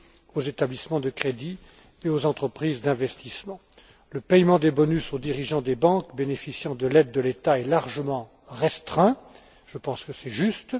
aux établissements de crédit et aux entreprises d'investissement. Le paiement des bonus aux dirigeants des banques bénéficiant de l'aide de l'État est largement restreint. Je pense que c'est juste.